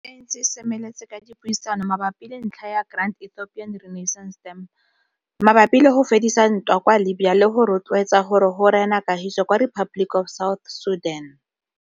AU e ntse e semeletse ka dipuisano mabapi le ntlha ya Grand Ethiopian Renaissance Dam, mabapi le go fedisa ntwa kwa Libya le go rotloetsa gore go rene kagiso kwa Republic of South Sudan.